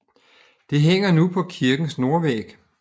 Det hænger nu på kirkens nordvæg